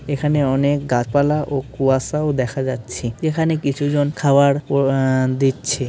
এখানে অনেক গাছপালা ও কুয়াশাও দেখা যাচ্ছে। এখানে কিছু জন খাবার ও আ দিচ্ছে।